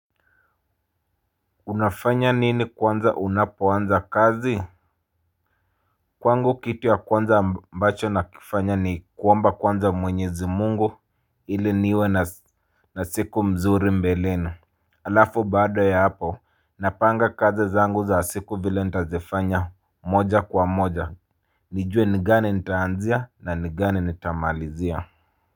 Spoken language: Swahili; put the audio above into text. Unafanya nini kwanza unapoanza kazi. Kwangu kitu ya kwanza ambacho nakifanya ni kuomba kwanza mwenyezi Mungu ili niwe na siku mzuri mbeleni. Halafu baada ya hapo napanga kazi zangu za siku vile nitazifanya moja kwa moja nijue ni gani nitaanzia na ni gani nitamalizia